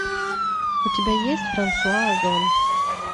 у тебя есть франсуа озон